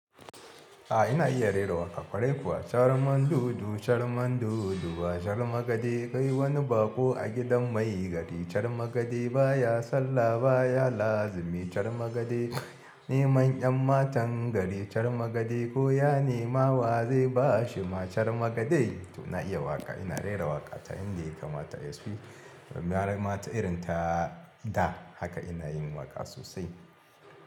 A ina iya rera wata ƙwarai kuwa? Char mandudu char mandudu wa char magade. Kai wani baƙo a gidan mai gari char magade. Ba ya sallah ba ya lazimi char magade. Neman 'yan matan gari char magade. Ko ya nema waze ba shi ma char magade. To na iya waƙa, ina rera waƙa ta yan da yanka. Mata SP, mara mata irin ta da haka ina yin waƙa sosai.